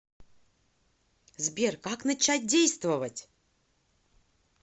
сбер как начать действовать